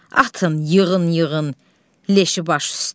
Atın, yığın, yığın leşi baş üstə.